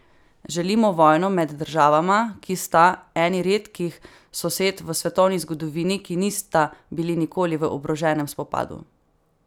Želimo vojno med državama, ki sta eni redkih sosed v svetovni zgodovini, ki nista bili nikoli v oboroženem spopadu?